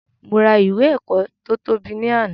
Mo ra ìwé ẹ̀kọ́ to tóbi ni àná